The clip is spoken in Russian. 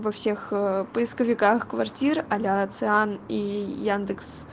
во всех поисковиках квартир а-ля циан и яндекс